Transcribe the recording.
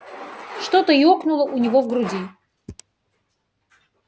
что-то ёкнуло у него в груди